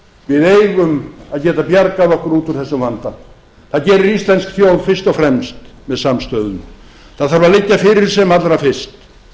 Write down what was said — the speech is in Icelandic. við eigum að geta bjargað okkur út úr þessum vanda það gerir íslensk þjóð fyrst og fremst með samstöðu það þarf að liggja fyrir sem allra fyrst